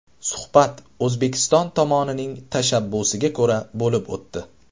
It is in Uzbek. Suhbat O‘zbekiston tomonining tashabbusiga ko‘ra bo‘lib o‘tdi.